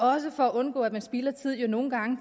også for at undgå at man spilder tiden jo nogle gange